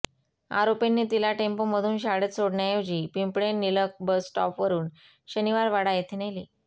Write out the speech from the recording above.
आरोपींनी तिला टेम्पोमधून शाळेत सोडण्याऐवजी पिंपळे निलख बस स्टॉप वरून शनिवारवाडा येथे नेले